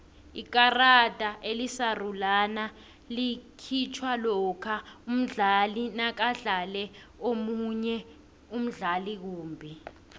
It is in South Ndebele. ikarada elisarulana likhitjhwa lokha umdlali nakadlale omunye umdlali kumbi